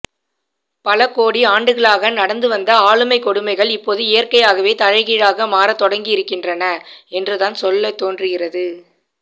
பல கோடி ஆண்டுகளாக நடந்து வந்த ஆளுமை கொடுமைகள் இப்போது இயற்கையாகவே தலைகீழாக மாற தொடங்கியிருக்கின்றன என்றுதான் சொல்ல தோன்றுகிறது